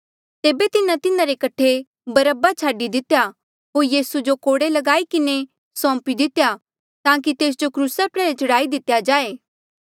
तेबे तिन्हें तिन्हारे कठे बरअब्बा छाडी दितेया होर यीसू जो कोड़े ल्गाई किन्हें सौंपी दितेया ताकि तेस जो क्रूसा प्रयाल्हे चढ़ाई दितेया जाए